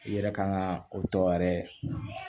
I yɛrɛ ka kan ka o tɔ yɛrɛ